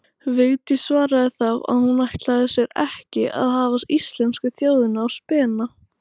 Vigdís svaraði þá að hún ætlaði sér ekki að hafa íslensku þjóðina á spena.